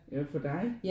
Jo for dig?